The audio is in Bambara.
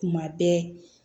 Kuma bɛɛ